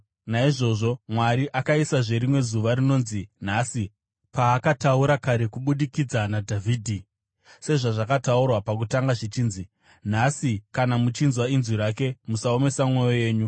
Naizvozvo Mwari akaisazve rimwe zuva rinonzi Nhasi, paakataura kare kubudikidza naDhavhidhi, sezvazvakataurwa pakutanga zvichinzi: “Nhasi, kana muchinzwa inzwi rake, musaomesa mwoyo yenyu.”